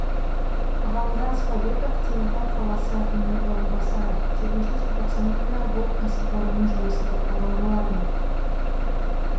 ғалымжан спабеков теміртау қаласы әкімінің орынбасары жетінші желтоқсан күні бұл кәсіпорынның жұмысы тоқтаған болатын